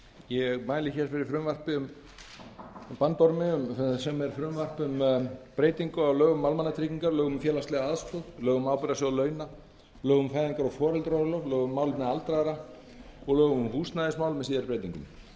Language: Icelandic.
ég mæli fyrir frumvarpi um breytingu á breytingu á lögum um almannatryggingar lögum um félagslega aðstoð lögum um ábyrgðasjóð launa lögum um fæðingar og foreldraorlof lögum um málefni aldraðra og lögum um húsnæðismál með síðari breytingum